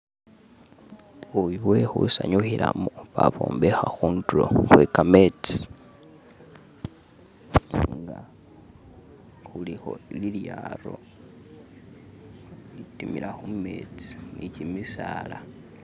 Buyu bwe khusanyukhilamo babwombekha khundulo khwekametsi atenga kulikho lilyaro litimila khumetsi ni gyimisaala